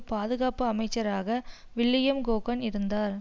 பாதுகாப்பு அமைச்சராக William Cohen இருந்தார்